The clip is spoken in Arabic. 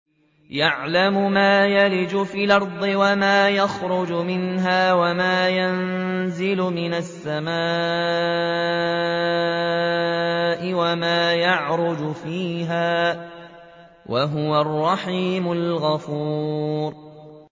يَعْلَمُ مَا يَلِجُ فِي الْأَرْضِ وَمَا يَخْرُجُ مِنْهَا وَمَا يَنزِلُ مِنَ السَّمَاءِ وَمَا يَعْرُجُ فِيهَا ۚ وَهُوَ الرَّحِيمُ الْغَفُورُ